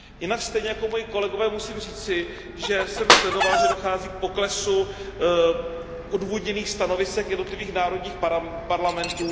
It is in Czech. Jinak stejně jako moji kolegové musím říci, že jsem sledoval, že dochází k poklesu odůvodněných stanovisek jednotlivých národních parlamentů.